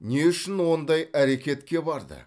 не үшін ондай әрекетке барды